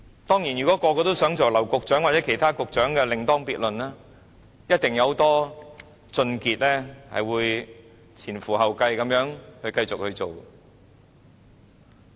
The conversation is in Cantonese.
當然，如果想成為劉局長或其他局長則另當別論，一定有很多俊傑會前仆後繼地繼續去做。